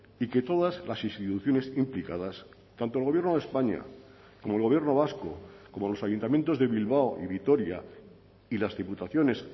y que todas las instituciones implicadas tanto el gobierno de españa como el gobierno vasco como los ayuntamientos de bilbao y vitoria y las diputaciones